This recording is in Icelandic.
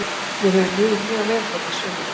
Mér hefur liðið mjög vel hérna í sumar.